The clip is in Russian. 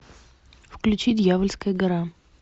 включи дьявольская гора